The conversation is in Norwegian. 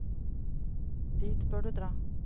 Dit bør du dra.